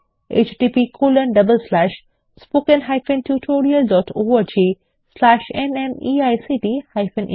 httpspoken tutorialorgNMEICT Intro Radha এই tutorial টি অনুবাদ এবং অন্তরা সেটি রেকর্ড করেছেন